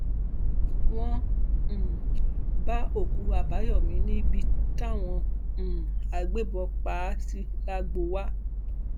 wọn um bá òkú àbáyọmí níbi táwọn um agbébọn pa á sí làgbówà